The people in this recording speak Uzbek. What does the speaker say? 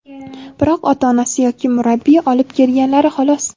biroq ota-onasi yoki murabbiyi olib kelganlari, xolos.